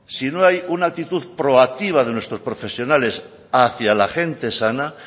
si no hay una actitud proactiva de nuestros profesionales hacia la gente sana